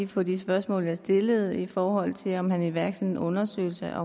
på de spørgsmål jeg stillede i forhold til om han ville iværksætte en undersøgelse